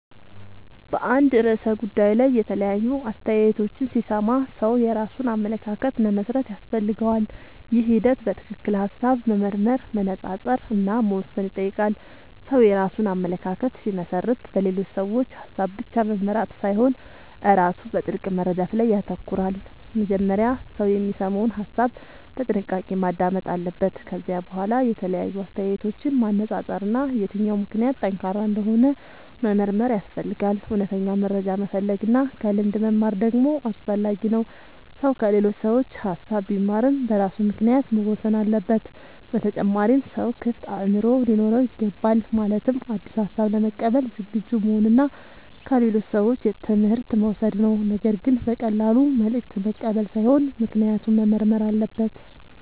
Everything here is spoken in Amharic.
በአንድ ርዕሰ ጉዳይ ላይ የተለያዩ አስተያየቶችን ሲሰማ ሰው የራሱን አመለካከት መመስረት ያስፈልገዋል። ይህ ሂደት በትክክል ሐሳብ መመርመር፣ መነጻጸር እና መወሰን ይጠይቃል። ሰው የራሱን አመለካከት ሲመሰርት በሌሎች ሰዎች ሐሳብ ብቻ መመራት ሳይሆን ራሱ በጥልቅ መረዳት ላይ ይተኮራል። መጀመሪያ ሰው የሚሰማውን ሐሳብ በጥንቃቄ ማዳመጥ አለበት። ከዚያ በኋላ የተለያዩ አስተያየቶችን ማነጻጸር እና የትኛው ምክንያት ጠንካራ እንደሆነ መመርመር ያስፈልጋል። እውነተኛ መረጃ መፈለግ እና ከልምድ መማር ደግሞ አስፈላጊ ነው። ሰው ከሌሎች ሰዎች ሐሳብ ቢማርም በራሱ ምክንያት መወሰን አለበት። በተጨማሪም ሰው ክፍት አእምሮ ሊኖረው ይገባል። ማለትም አዲስ ሐሳብ ለመቀበል ዝግጁ መሆን እና ከሌሎች ሰዎች ትምህርት መውሰድ ነው። ነገር ግን በቀላሉ መልእክት መቀበል ሳይሆን ምክንያቱን መመርመር አለበት።